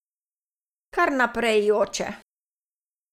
Kar naprej joče.